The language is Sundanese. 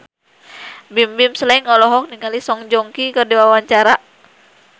Bimbim Slank olohok ningali Song Joong Ki keur diwawancara